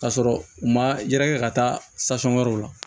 K'a sɔrɔ u ma yɛrɛkɛ ka taa wɛrɛw la